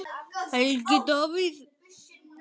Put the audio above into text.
Helgi Davíð.